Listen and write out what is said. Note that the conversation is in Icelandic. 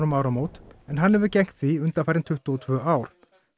um áramót en hann hefur gegnt því undanfarin tuttugu og tvö ár